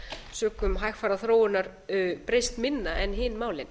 sökum hægfara þróunar breyst minna en hin málin